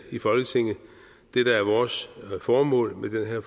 i folketinget det der er vores formål med den her